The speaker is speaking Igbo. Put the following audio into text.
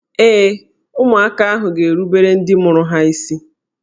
Ee, ụmụaka ahụ ga-erubere ndị mụrụ ha isi